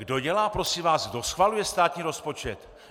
Kdo dělá, prosím vás, kdo schvaluje státní rozpočet?